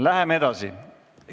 Läheme edasi.